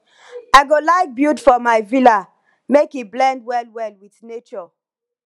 i go like build for my villa make e blend well well with nature